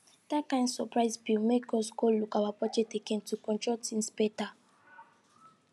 dat kain surprise bill make us go look our budget again to control things better